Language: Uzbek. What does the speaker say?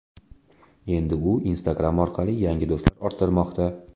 Endi u Instagram orqali yangi do‘stlar orttirmoqda .